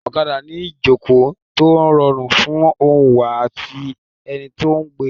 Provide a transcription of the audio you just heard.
Ọ̀kadà ni ìjòkó tó rọrùn fún oǹwà àti ẹni tí ó gbé.